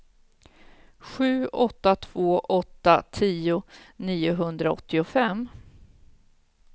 sju åtta två åtta tio niohundraåttiofem